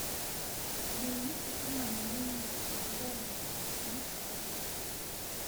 знаменитый фильм анджелины джоли найти